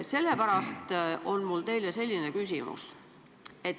Sellepärast on mul selline küsimus.